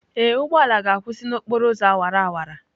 Ee, ụgbọ ala ga-akwụsị n'okporo ụzọ awara awara.